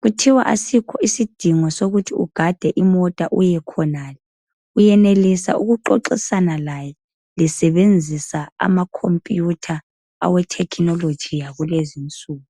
kuthiwa asikho isidingo sokuthi ugade imota uyekhonale, uyenelisa ukuxoxisana laye lisebenzisa amakhomphutha awe thekhinoloji yakulezinsuku